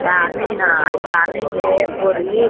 पानी हई इ पानी में एक ओर इ --